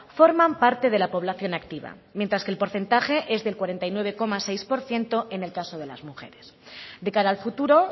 forman parte de la población activa mientras que el porcentaje es del cuarenta y nueve coma seis por ciento en el caso de las mujeres de cara al futuro